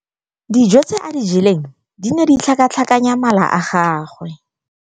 Dijô tse a di jeleng di ne di tlhakatlhakanya mala a gagwe.